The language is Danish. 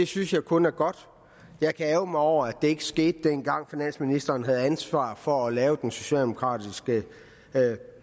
synes jeg kun er godt jeg kan ærgre mig over at det ikke skete dengang finansministeren havde ansvar for at lave den socialdemokratiske